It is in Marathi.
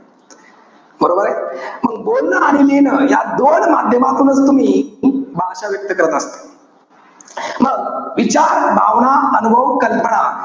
बरोबरे? मग बोलणं आणि लिहिणं या दोन माध्यमातूनच तुम्ही भाषा व्यक्त करत असतात. मग, विचार, भावना, अनुभव, कल्पना,